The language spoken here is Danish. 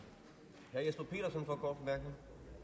går op